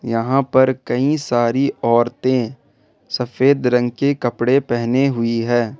यहां पर कई सारी औरते सफेद रंग के कपड़े पहने हुई है।